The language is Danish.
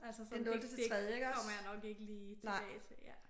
Altså så det det kommer jeg nok ikke lige tilbage til ja